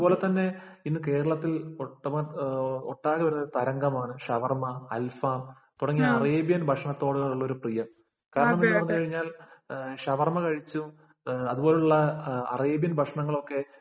അതുപോലെ തന്നെ ഇന്ന് കേരളത്തില്‍ ഒട്ടാകെയുള്ള തരംഗമാണ് ഷവര്‍മ, അല്‍ ഫാം തുടങ്ങിയ അറേബ്യന്‍ ഭക്ഷണത്തോടുള്ള ഒരു പ്രിയം. കാരണം, എന്തെന്നു പറഞ്ഞു കഴിഞ്ഞാല്‍ ഷവര്‍മ കഴിച്ചും, അതുപോലുള്ള അറേബ്യന്‍ ഭക്ഷണങ്ങളൊക്കെ